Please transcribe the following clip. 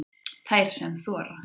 Þær sem þora